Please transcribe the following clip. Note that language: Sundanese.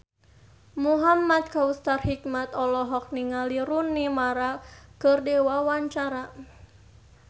Muhamad Kautsar Hikmat olohok ningali Rooney Mara keur diwawancara